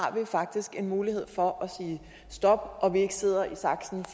en mulighed for at sige stop og vi ikke sidder i saksen